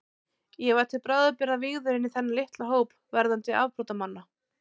Ég var til bráðabirgða vígður inní þennan litla hóp verðandi afbrotamanna.